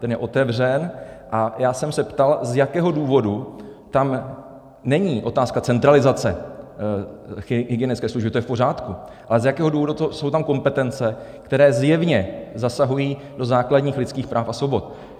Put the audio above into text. Ten je otevřen, a já jsem se ptal, z jakého důvodu - tam není otázka centralizace hygienické služby, to je v pořádku - ale z jakého důvodu jsou tam kompetence, které zjevně zasahují do základních lidských práv a svobod.